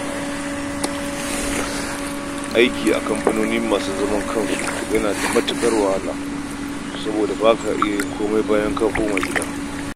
Aiki a kamfanoni masu zaman kansu yana da wahala, saboda ba ka iya komai bayan ka dawo gida.